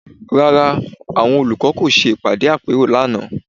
Rárá, àwọn olùkọ́ kò ṣe ìpàdé àpérò lánàá